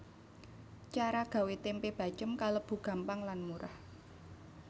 Cara gawé tempe bacém kalébu gampang lan murah